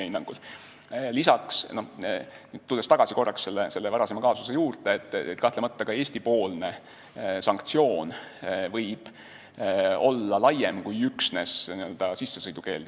Tulles korraks tagasi selle varasema teema juurde, siis kahtlemata ka Eesti-poolne sanktsioon võib olla laiem kui üksnes sissesõidukeeld.